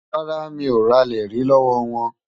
Rárá, mi ò ralẹ̀ rí lọ́wọ́ wọn.